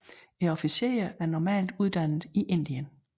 Officererne er normalt uddannet i Indien